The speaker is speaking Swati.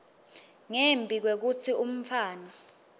ngembi kwekutsi umntfwana